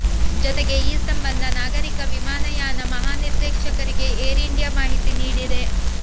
ಜೊತೆಗೆ ಈ ಸಂಬಂಧ ನಾಗರಿಕ ವಿಮಾನಯಾನ ಮಹಾ ನಿರ್ದೇಶಕರಿಗೆ ಏರ್ ಇಂಡಿಯಾ ಮಾಹಿತಿ ನೀಡಿದೆ